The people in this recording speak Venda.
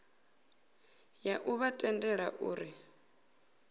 ya u vha tendela uri